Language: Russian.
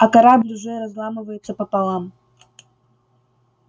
а корабль уже разламывается пополам